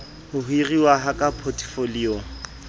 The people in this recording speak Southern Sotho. ho hiruwa ha ka potefoliong